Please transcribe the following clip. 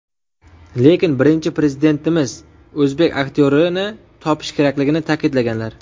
Lekin Birinchi Prezidentimiz o‘zbek aktyorini topish kerakligini ta’kidlaganlar.